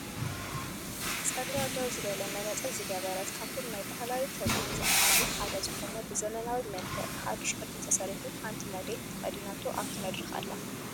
ፀጉራ ደው ዝበለት መነፀር ዝገበረትን ከብቶም ናይ ባህላዊ ክዳን ዝበሃሉ ሓደ ዝኮነ ብዘመናዊ መልክዕ ብሓዱሽ ቅዲ ተሰሪሑ ሓንቲ ሞዴል ተከዲናቶ ኣብቲ መድረክ ኣላ።